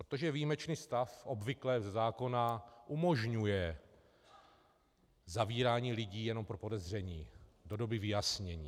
Protože výjimečný stav obvykle ze zákona umožňuje zavírání lidí jenom pro podezření do doby vyjasnění.